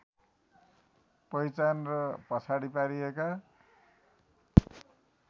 पहिचान र पछाडि पारिएका